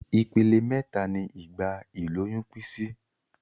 Ipele méta ni ìgbà ìlóyún pín sí